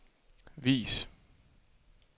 vis